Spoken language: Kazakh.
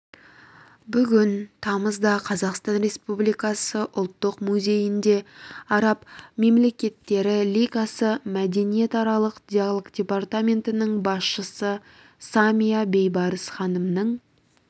бүгін тамызда қазақстан республикасы ұлттық музейінде араб мемлекеттері лигасы мәдениетаралық диалог департаментінің басшысы самия бейбарыс ханымның